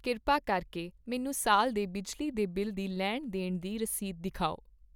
ਕਿਰਪਾ ਕਰਕੇ ਮੈਨੂੰ ਸਾਲ ਦੇ ਬਿਜਲੀ ਦੇ ਬਿੱਲ ਦੀ ਲੈਣ ਦੇਣ ਦੀ ਰਸੀਦ ਦਿਖਾਓ